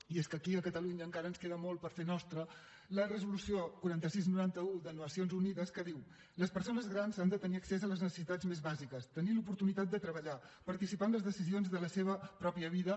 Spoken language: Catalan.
i és que aquí a catalunya encara ens queda molt per fer nostra la resolució quaranta sis noranta un de les nacions unides que diu les persones grans han de tenir accés a les necessitats més bàsiques tenir l’oportunitat de treballar participar en les decisions de la seva pròpia vida